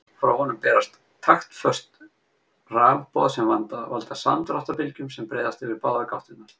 Frá honum berast taktföst rafboð sem valda samdráttarbylgjum sem breiðast yfir báðar gáttirnar.